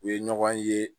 U ye ɲɔgɔn ye